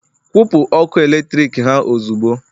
kwụpụ ọkụ eletrik ha ozugbo!